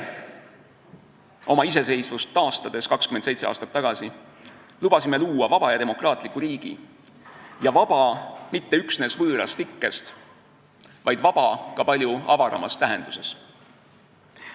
Meie lubasime 27 aastat tagasi oma iseseisvust taastades luua vaba ja demokraatliku riigi, vaba mitte üksnes võõrast ikkest, vaid vaba ka palju avaramas tähenduses.